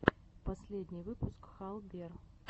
последний выпуск хал бер